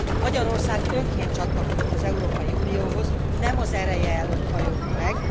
Magyarország önként csatlakozott az Európai Unióhoz, nem az ereje előtt hajolt meg.